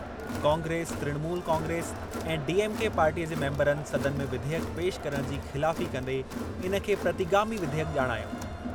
कांग्रेस, तृणमूल कांग्रेस, ऐं डीएमके पार्टीअ जे मेंबरनि सदन में विधेयक पेश करण जी ख़िलाफ़ी कंदे इन खे प्रतिगामी विधेयक ॼाणायो।